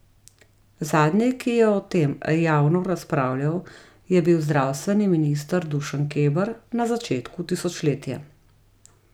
Zadnji, ki je o tem javno razpravljal, je bil zdravstveni minister Dušan Keber na začetku tisočletja.